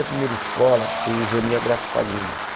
A primeira escola foi o Joaninha Graças Fagundes.